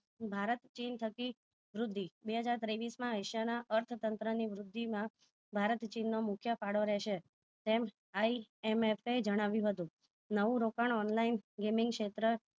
ભારત ચીન થકી વૃદ્ધિ બે હજાર ત્રેવીસ માં એશિયા ના અર્થતંત્ર ની વૃદ્ધિ ના ભારત ચીન નો મુખ્ય ફાળો રહશે તેમ IMFA એ જણાવ્યું હતું નવું રોકાણ online gaming ક્ષેત્ર